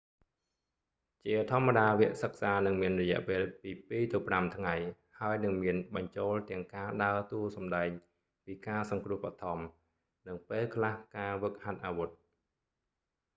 ជាធម្មតាវគ្គសិក្សានឹងមានរយៈពេលពី 2-5 ថ្ងៃ ហើយនឹងមានបញ្ចូលទាំងការដើរតួសំដែងពីការសង្គ្រោះបឋម និងពេលខ្លះការហ្វឹកហាត់អាវុធ